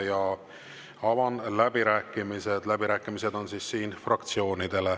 Ja avan läbirääkimised, läbirääkimised on siin fraktsioonidele.